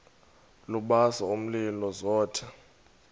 lubasa umlilo zothe